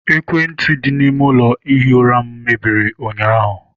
Ekwentị dị n'ime ụlọ ihi ura m mebiri ụnyaahụ..